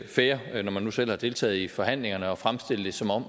fair når man nu selv har deltaget i forhandlingerne at fremstille det som om